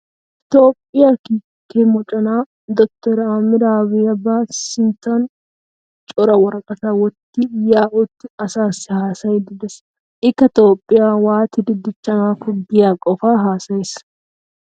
Toophphiya kiike moconaa dottoriya Ahiimmeda Aabiyyiba sinttan cora woraqataa wottidi yaa'aa uttida asaassi haasayiiddi de'ees. Ikka Toophphiya waatidi dichchanaakko giya qofaa haasayees.